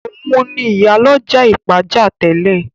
Òun ni ìyálọ́jà ọjà Ìpàjá tẹ́lẹ̀